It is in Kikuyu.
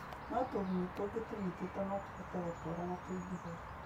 no tũgunyũ tũngĩ tũnyitĩtwo no tũhote gũtũũra na tũingĩhe